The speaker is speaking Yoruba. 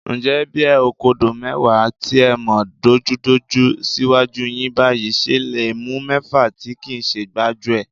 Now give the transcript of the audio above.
Ǹjẹ́ bẹ́ ẹ kọ́dọ̀ọ́ mẹ́wàá tí ẹ mọ̀ dunjúdunjú síwájú yín báyìí, ṣẹ le mú mẹ́fà tí kìí ṣe gbájúẹ̀?